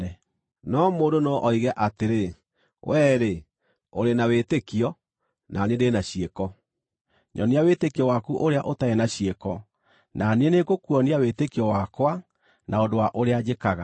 No mũndũ no oige atĩrĩ, “Wee-rĩ, ũrĩ na wĩtĩkio; na niĩ ndĩ na ciĩko.” Nyonia wĩtĩkio waku ũrĩa ũtarĩ na ciĩko, na niĩ nĩngũkuonia wĩtĩkio wakwa na ũndũ wa ũrĩa njĩkaga.